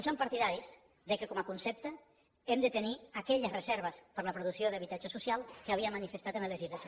som partidaris que com a concepte hem de tenir aquelles reserves per a la producció d’habitatge social que havíem manifestat en la legislació